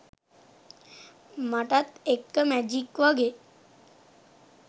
මටත් එක්ක මැජික් වගෙ